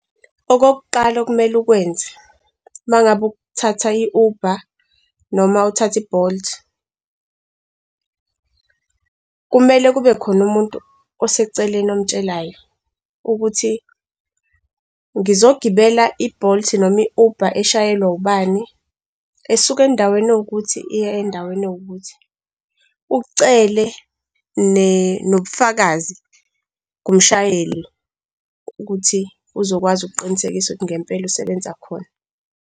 Okokuqala okumele ukwenze, uma ngabe uthatha i-Uber noma uthatha i-Bolt, kumele kube khona umuntu oseceleni omtshelayo, ukuthi ngizogibela i-Bolt noma i-Uber eshayelwa ubani, esuka endaweni ewukuthi iya endaweni ewukuthi. Ucele nobufakazi kumshayeli ukuthi uzokwazi ukuqinisekisa ukuthi ngempela usebenza khona.